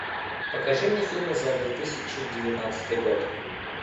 покажи мне фильмы за две тысячи девятнадцатый год